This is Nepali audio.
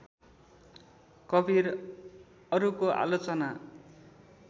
कवीर अरूको आलोचना